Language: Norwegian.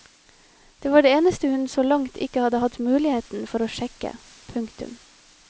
Det var det eneste hun så langt ikke hadde hatt mulighet for å sjekke. punktum